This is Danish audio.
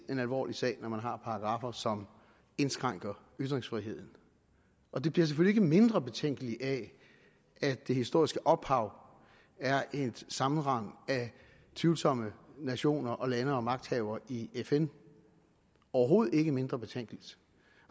en alvorlig sag når man har paragraffer som indskrænker ytringsfriheden og det bliver selvfølgelig ikke mindre betænkeligt af at det historiske ophav er et sammenrend af tvivlsomme nationer lande og magthavere i fn overhovedet ikke mindre betænkeligt